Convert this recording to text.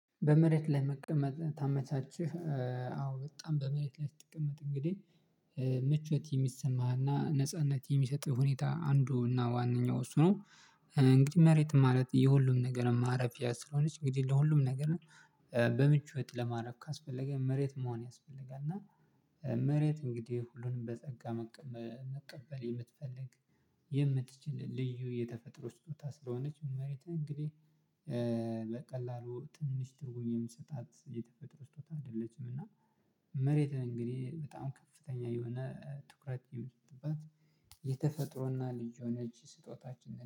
በመሬት ላይ መቀመጥ ታመቻችህ? አዎ በጣም በመሬት ላይ ስትቀመጥ እንግዲህ መቾት የሚሰማህና ነጻነት የሚሰጥህ ሁኔታ አንዱና ዋነኛው እሱ ነው። እንግዲህ መሬት ማለት የሁሉም ነገር ማረፊያ ስለሆነች እንግዲህ ለሁሉም ነገር በምቾት ለማረፍ ካስፈለገ መሬት መሆን ያስፈልጋል። እና መሬት እንግዲህ ሁሉንም በጸጋ መቀበል የምትፈልግ የምትችል ልዩ የተፈጥሮ ስጦታ ስለሆነች መሬት እንግዲህ በቀላሉ ትንሽ ትርጉም የምንሰጣት የተፈጥሮ ስጦታ አይደለችም። እና መሬት እንግዲህ በጣም ከፍተኛ የሆነ ትኩረት የሚጥሉባት የተፈጥሮና ልዩ የሆነች ስጦታችንን